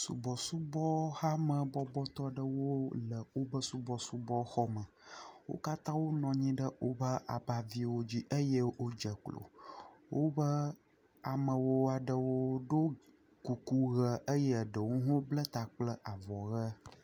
Subɔsubɔhamebɔbɔtɔ ɖewo le woƒe subɔsubɔxɔme. Wo katã wonɔ anyi ɖe woƒe abaviwo dzi eye wodze klo. Woƒe amewo aɖewo ɖo kuku ʋe eye ɖewo hã bla bla kple avɔ ʋe.